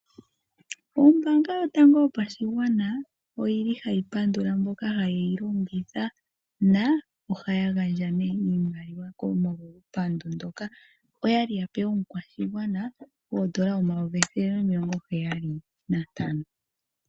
Ombaanga yotango yopashigwana oyili hayi pandula mboka ha ye yi longitha, na ohaya gandja nee iimaliwa kolupandu ndoka. Okwa li ya pe omukwashigwana N$ 175 000.00.